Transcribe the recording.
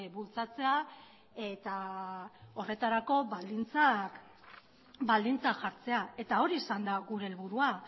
bultzatzea eta horretarako baldintzak jartzea eta hori izan da gure helburua